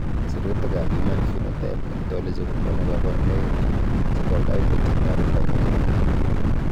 Sirutikab Human Phenotype Ontology kokonu koborunoikchu chebo koimutietab konyek en ng'etik.